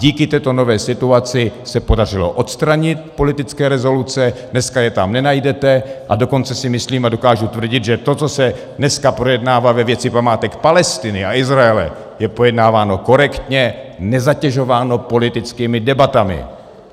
Díky této nové situaci se podařilo odstranit politické rezoluce, dneska je tam nenajdete, a dokonce si myslím a dokážu tvrdit, že to, co se dneska projednává ve věci památek Palestiny a Izraele, je pojednáváno korektně, nezatěžováno politickými debatami.